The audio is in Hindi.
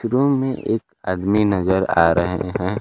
रूम में एक आदमी नजर आ रहे हैं।